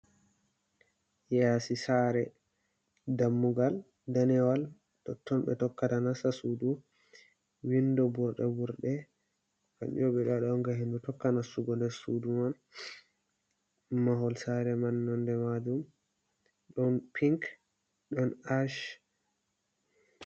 Yasi sare dammugal danewal tonɓe tokkata nasta sudu, windo burɗe burɗe kanjum on ngam hendu tokka nasugo nder sudu man, mahol sare man nonde majum ɗon pink ɗon ash.